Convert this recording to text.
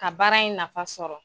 Ka baara in nafa sɔrɔ